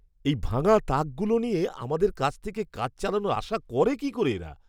এই ভাঙা তাকগুলো নিয়ে আমাদের কাছ থেকে কাজ চালানোর আশা করে কি করে এরা?